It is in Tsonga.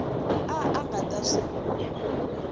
a a nga ta swi